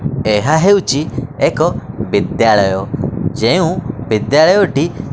ଏହା ହେଉଚି ଏକ ବିଦ୍ୟାଳୟ ଯେଉଁ ବିଦ୍ୟାଳୟଟି--